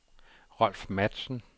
Rolf Matzen